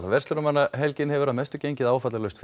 verslunarmannahelgin hefur að mestu gengið áfallalaust